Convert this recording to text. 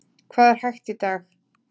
Hvað er hægt í dag?